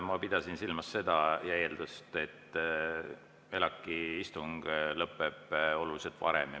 Ma pidasin silmas seda eeldust, et ELAK‑i istung lõpeb oluliselt varem.